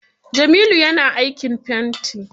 Jamilu ya na aikin fenti.